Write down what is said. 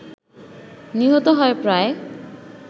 নিহত হয় প্রায়